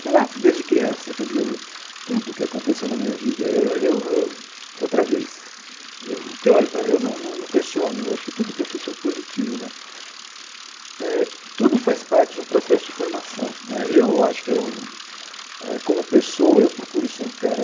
sei lá, desde criança, quer dizer, tudo que aconteceu na minha vida, eu eu, outra vez, eu o que eu olho para eu num num num questiono, eu acho que tudo que eu fiz foi positivo né, eh tudo faz parte de um processo de formação né, eu acho que eu eh como pessoa eu procuro ser um cara